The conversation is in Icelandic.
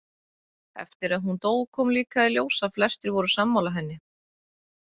Eftir að hún dó kom líka í ljós að flestir voru sammála henni.